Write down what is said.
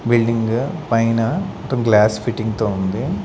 Building పైన మొత్తం glass fitting తో ఉంది.